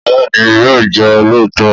Bẹ́ẹ̀ni yóò jẹ olóòótọ